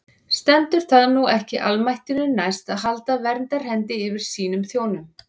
Stendur það nú ekki almættinu næst að halda verndarhendi yfir sínum þjónum?